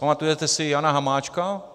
Pamatujete si Jana Hamáčka?